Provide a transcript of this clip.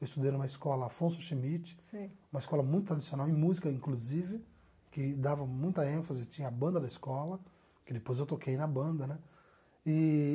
Eu estudei numa escola Afonso Schmidt. Sei. Uma escola muito tradicional em música, inclusive, que dava muita ênfase, tinha a banda da escola, que depois eu toquei na banda, né? Eee